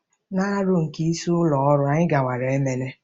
Na aro nke isi ụlọ ọrụ, anyị gawara Emene